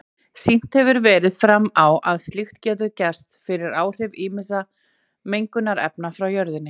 Sýnt hefur verið fram á að slíkt getur gerst fyrir áhrif ýmissa mengunarefna frá jörðinni.